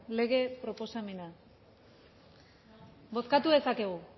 lege proposamena bozkatu dezakegu